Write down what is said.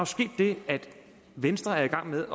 sket det at venstre er i gang med